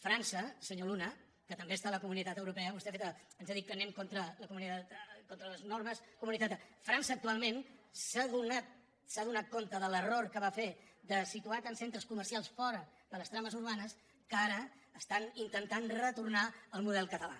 frança senyor luna que també es·tà a la comunitat europea vostè ens ha dit que anem en contra les normes comunitàries frança actualment s’ha adonat s’ha adonat de l’error que va fer de si tuar tants centres comercials fora de les trames urbanes que ara estan intentant retornar al model català